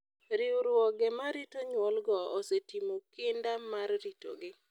Riwruoge ma rito nyuolgo osetimo kinda mar ritogi.